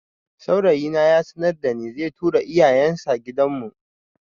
Saurayi na ya sanarda ni zai tura iyayen sa gidan mu